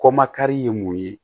Kɔmakari ye mun ye